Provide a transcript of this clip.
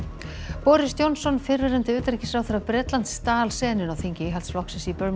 boris Johnson fyrrverandi utanríkisráðherra Bretlands stal senunni á þingi Íhaldsflokksins í